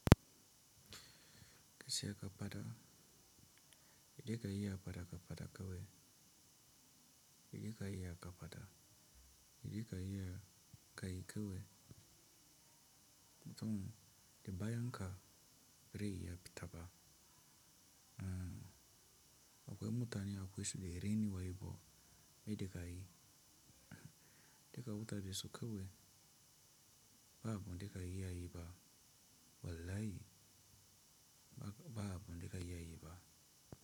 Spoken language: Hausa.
Gaskiya ka faɗa, idan ka yi a faɗa ka faɗa kewaye, idan ka yi a ka faɗa, idan ka yi a ka yi kewaye, mutumin da baya ka rayu ya fita ba. Akwai mutane akwai su da renu waye bo me da ka yi. Da ka bauta basu kewaye, ba abu da ka yi a yi ba. Wallahi ba abu da ka yi a yi ba.